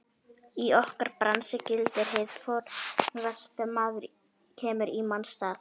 Í okkar bransa gildir hið fornkveðna: Maður kemur í manns stað.